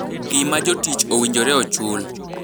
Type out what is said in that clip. gima jotich owinjore ochul,